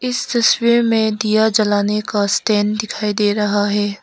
तस्वीर में दिया जलाने का स्टैंड दिखाई दे रहा है।